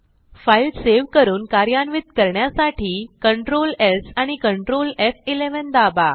file save करून कार्यान्वित करण्यासाठी Ctrl स् आणि Ctrl एफ11 दाबा